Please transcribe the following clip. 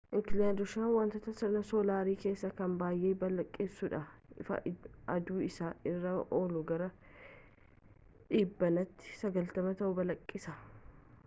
inkelaadosiin wantoota sirna soolaarii keessaa kan baay'ee balaqqeessa'uudha ifa aduu isa irra ooluu gara dhibbeentaa 90 ta'u balaqqeessisa